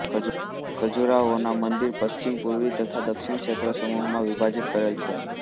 ખજૂરાહોના મંદિર પશ્ચિમ પૂર્વી તથા દક્ષિણના ક્ષેત્રસમૂહોમાં વિભાજીત કરેલ છે